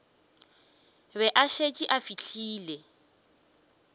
be a šetše a fihlile